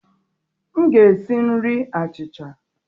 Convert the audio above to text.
M ga-esi nri achịcha.